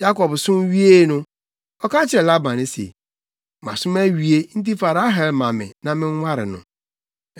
Yakob som wiee no, ɔka kyerɛɛ Laban se, “Masom awie nti, fa Rahel ma me na menware no.”